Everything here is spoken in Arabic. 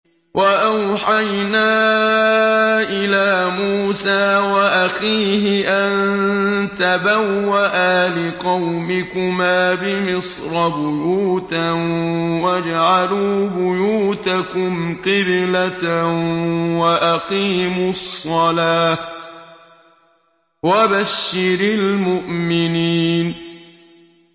وَأَوْحَيْنَا إِلَىٰ مُوسَىٰ وَأَخِيهِ أَن تَبَوَّآ لِقَوْمِكُمَا بِمِصْرَ بُيُوتًا وَاجْعَلُوا بُيُوتَكُمْ قِبْلَةً وَأَقِيمُوا الصَّلَاةَ ۗ وَبَشِّرِ الْمُؤْمِنِينَ